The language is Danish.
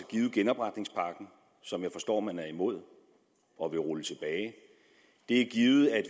givet i genopretningspakken som jeg forstår man er imod og vil rulle tilbage det er givet at